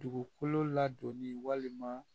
Dugukolo ladonni walima